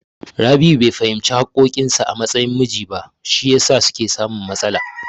Rabi'u bai fahimci haƙƙoƙin sa a matsayin miji ba, shi yasa suke samun matsala.